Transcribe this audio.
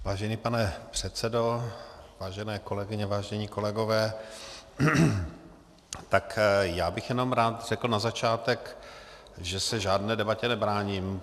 Vážený pane předsedo, vážené kolegyně, vážení kolegové, tak já bych jenom rád řekl na začátek, že se žádné debatě nebráním.